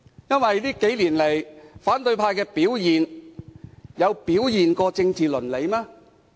這幾年，反對派的表現尊重政治倫理嗎？